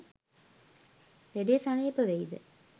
ලෙඩෙ සනීප වෙයිද?